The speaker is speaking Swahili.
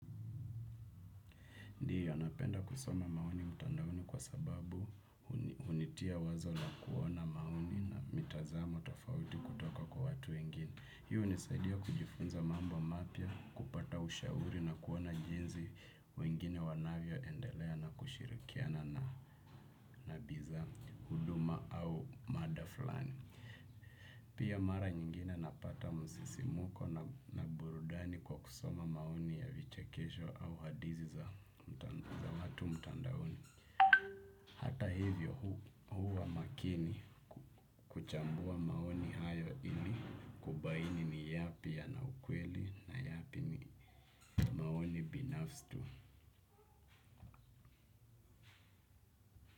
Ndiyo napenda kusoma maoni mtandaoni kwa sababu hunitia wazo na kuona maoni na mitazamo tofauti kutoka kwa watu wengini. Hii hunisaidia kujifunza mambo mapya, kupata ushauri na kuona jinsi wengine wanavyoendelea na kushirikiana na biza, huduma au mada fulani. Pia mara nyingina napata msisimko na burudani kwa kusoma maoni ya vichekesho au hadithi za watu mtandaoni. Hata hivyo huwa makini kuchambua maoni hayo ili kubaini ni yapi ya ukweli na yapi ni maoni binafsi.